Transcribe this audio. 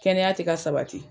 Kɛnɛya te ka sabati